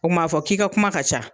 O kuma a b'a fɔ k'i ka kuma ka ca.